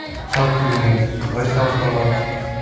шабыт деген негізі қалай шабыт алады